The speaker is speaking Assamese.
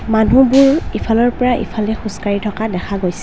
মানুহবোৰ ইফালৰ পৰা ইফালে খোজকাঢ়ি থকা দেখা গৈছে।